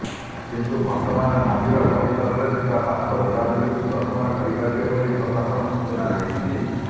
କିନ୍ତୁ ଭକ୍ତମାନେ ମନ୍ଦିର ପରିସରରେ ଥିବା ପାର୍ଶ୍ୱ ଦେବାଦେବୀଙ୍କୁ ଦର୍ଶନ କରିପାରିବେ ବୋଲି ପ୍ରଶାସନ ସୂଚନା ଦେଇଛି